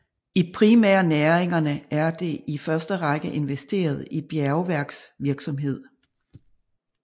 I primærnæringerne er det i første række investeret i bjergværksvirksomhed